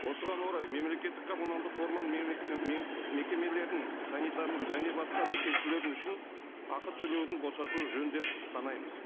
осыған орай мемлекетті ккоммуналдық орман мекемелерінің санитарлық және басқа да кесулері үшін ақы төлеуден босатуы жөн деп санаймыз